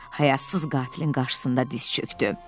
Həyasız qatilin qarşısında diz çökdü.